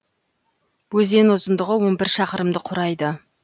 өзен ұзындығы он бір шақырымды құрайды